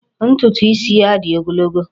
Ntutu isi ya dị ogologo.